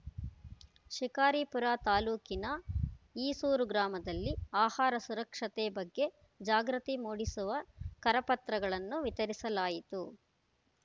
ಶಿಕಾರಿಪುರ ತಾಲೂಕಿನ ಈಸೂರು ಗ್ರಾಮದಲ್ಲಿ ಆಹಾರ ಸುರಕ್ಷತೆ ಬಗ್ಗೆ ಜಾಗೃತಿ ಮೂಡಿಸುವ ಕರಪತ್ರಗಳನ್ನು ವಿತರಿಸಲಾಯಿತು